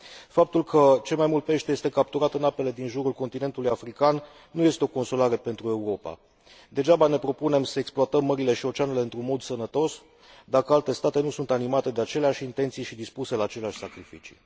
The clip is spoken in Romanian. Faptul că cel mai mult pește este capturat în apele din jurul continentului african nu este o consolare pentru Europa. Degeaba ne propunem să exploatăm mările și oceanele într un mod sănătos, dacă alte state nu sunt animate de aceleași intenții și dispuse la aceleași sacrificii.